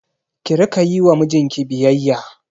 Ki Rika Yi wa mijinki biyayya